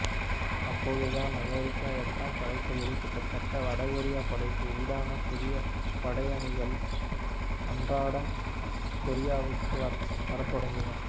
அப்போது தான் அமெரிக்க எட்டாம் படைத்தொகுதி கிட்டதட்ட வடகொரியபடைக்கு ஈடான புதிய படையணிகள் அன்றாடம் கொரியாவுக்கு வரத்தொடங்கின